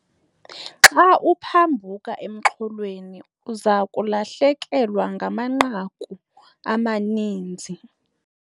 Xa uphambuka emxholweni uza kulahlekelwa ngamanqaku amaninzi.